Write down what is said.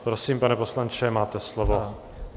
Prosím, pane poslanče, máte slovo.